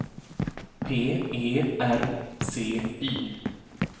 P E R C Y